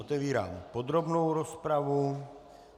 Otevírám podrobnou rozpravu.